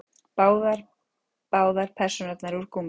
Bara báðar persónurnar úr gúmmíi.